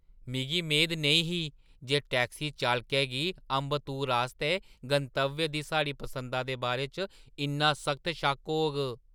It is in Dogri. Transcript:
मिगी मेद नेईं ही जे टैक्सी चालकै गी अम्बत्तूर आस्तै गंतव्य दी साढ़ी पसंदा दे बारे च इन्ना सख्त शक होग।